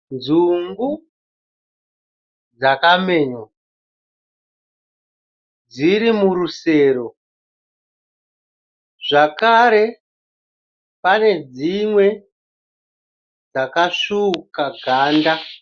Nzungu dzamenywa dzirimurusero zvakare panedzimwe dzakasvuuka ganda.